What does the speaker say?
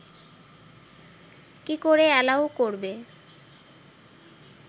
কী করে অ্যালাউ করবে